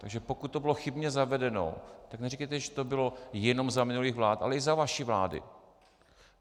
Takže pokud to bylo chybně zavedeno, tak neříkejte, že to bylo jenom za minulých vlád, ale i za vaší vlády.